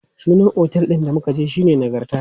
Sunan otel ɗin da muka je shine Nagarta.